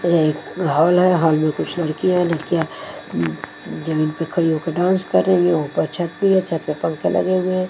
एक हॉल है हॉल मे कुछ लड़कियां लड़कियां जमीन होके डांस कर रही है ऊपर छत भी है छत पे पंखे लगे हुए--